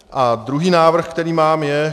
A druhý návrh, který mám, je.